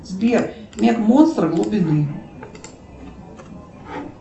сбер мег монстр глубины